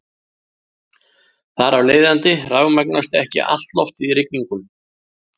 Þar af leiðandi rafmagnast ekki allt loftið í rigningu.